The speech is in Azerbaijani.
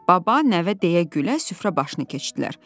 Baba nəvə deyə gülə süfrə başını keçdilər.